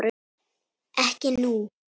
Ekki nú.